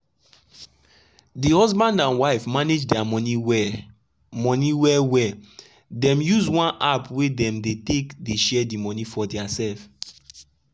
de husband and wife manage dia monie well monie well well dem use one app wey dem dey take dey share the monie for dia sef.